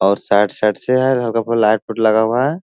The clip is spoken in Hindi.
और साइड साइड से हल्का-फुल्का लाइट फुट लगा हुआ है।